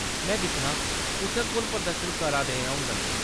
में दिक्खनां, उत्थै कु'न प्रदर्शन करा दे होङन ?